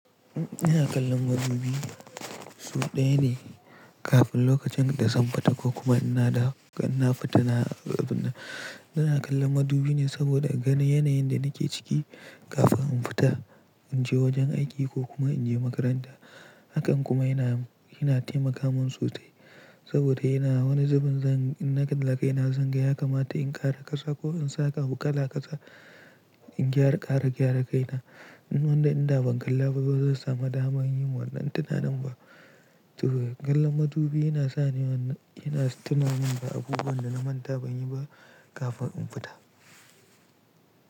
Ina kallon madubi sau ɗaya ne kafin lokacin da zan fita ko kuma ina da, ina fitina, ina kallon madubi ne saboda gani yanayin da nake ciki kafin in fita in je wajen aiki ko kuma in je makaranta. Hakan kuma yana, yana taimaka mun sosai saboda yana wani zubin zan, in na kalla kai na zan ga ya kama ta in ƙara ƙasa ko in saka abu kala ƙasa, in gyara, ƙara gyara kaina. In wanda in da ban kallaba ba zan samu daman yin wannan tunanin ba. Saboda kallon madubi yana sani wannan, yana tunanin ba abubuwan da na manta ban yi ba kafin in fita.